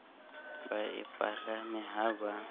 ba e palame ha ba